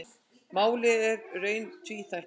Málið er í raun tvíþætt.